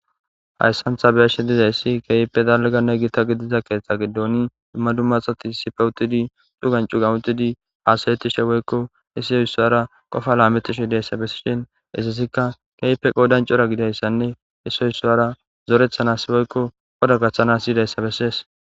hayssantha beyashi dizayssi keype dalganne gita gidiza keeththa giddoni immadu maxati sipewutidi xugancu ga utidi aasayetishe woykko issoo issoara qofa laametishe idayssa bessishin issasikka keype qoodancura gidayssanne issoy isso ara zorethanas woykko oda gaththanas yiidayssa bessees